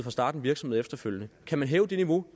at starte en virksomhed efterfølgende kan man hæve det niveau